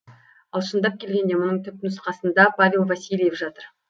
ал шындап келгенде мұның түпнұсқасында павел васильев жатыр